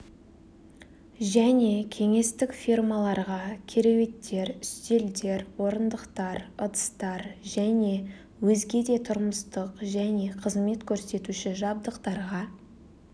және кеңестік фирмаларға кереуеттер үстелдер орындықтар ыдыстар және өзге де тұрмыстық және қызмет қөрсетуші жабдықтарға